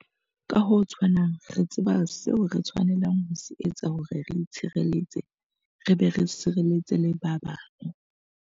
Ka ho tshwanang, re tseba seo re tshwanelang ho se etsa hore re itshireletse re be re sireletse le ba bang.